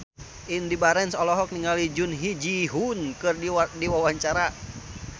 Indy Barens olohok ningali Jun Ji Hyun keur diwawancara